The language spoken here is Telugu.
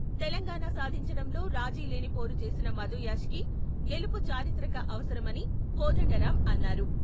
తెలంగాణ సాధించడంలో రాజీలేని పోరు చేసిన మధుయాష్కి గెలుపు చారిత్రక అవసరమని కోదండరాం అన్నారు.